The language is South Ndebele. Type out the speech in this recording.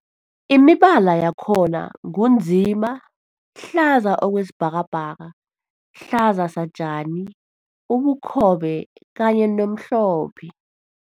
Imibala yakhona ngu nzima, hlaza okwesibhakabhaka, hlaza satjani, ubukhobe kanye nomhlophe.